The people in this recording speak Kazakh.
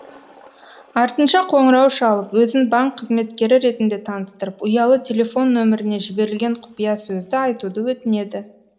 артынша қоңырау шалып өзін банк қызметкері ретінде таныстырып ұялы телефон нөміріне жіберілген құпиясөзді айтуды өтінеді